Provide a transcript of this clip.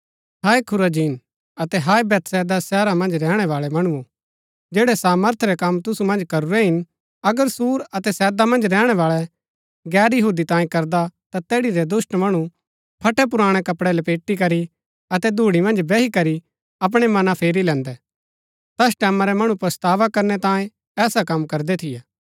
हाय Chorazin अतै हाय Bethsaida शहरा मन्ज रैहणै बाळै मणुओ जैड़ै सामर्थ रै कम तुसु मन्ज करूरै हिन अगर सूर अतै सैदा मन्ज रैहणै बाळै गैर यहूदी तांई करदा ता तैड़ी रै दुष्‍ट मणु फटै पुराणै कपड़ै लपेटी करी अतै धूड़ी मन्ज बैही करी अपणै मना फेरी लैन्दै तैस टैमां रै मणु पच्छतावा करनै तांये ऐसा कम करदै थियै